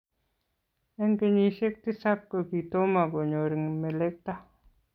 Eng kenyisiek tisap kokitomo konyor melekto